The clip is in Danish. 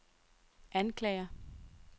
anklager